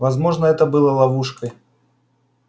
возможно это было ловушкой